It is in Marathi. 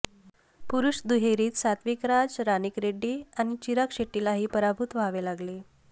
पुरुष दुहेरीत सत्विकराज रानिकरेड्डी आणि चिराग शेट्टीलाही पराभूत व्हावे लागले